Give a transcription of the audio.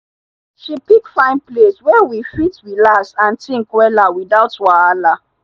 she pick fine place wey we fit relax and think wella without wahala.